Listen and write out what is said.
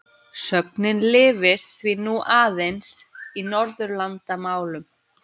Sögnin lifir því nú aðeins í Norðurlandamálum.